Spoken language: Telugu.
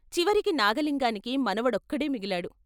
చివరికి నాగలింగానికి మనవడొక్కడే మిగిలాడు.